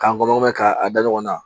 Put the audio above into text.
K'an nɔnɔ mɛn k'a da ɲɔgɔn na